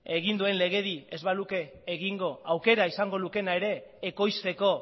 egin duen legedia egin ez baluke egingo aukera izango lukeena ere ekoizteko